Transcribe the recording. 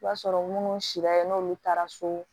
I b'a sɔrɔ minnu sira ye n'olu taara so